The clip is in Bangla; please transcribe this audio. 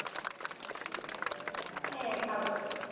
হ্যাঁ ভালো আছে।